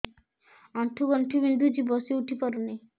ଆଣ୍ଠୁ ଗଣ୍ଠି ବିନ୍ଧୁଛି ବସିଉଠି ପାରୁନି